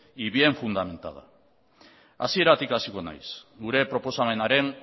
y bien fundamentada hasieratik hasiko naiz gure proposamenaren